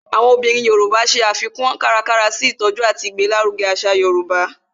Àwọn obìnrin Yoruba ṣe àfikún kárakára sí ìtọjú àti ìgbéláruge àṣà yorùbá